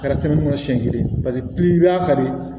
Kɛra kɔnɔ siɲɛ kelen paseke i b'a kari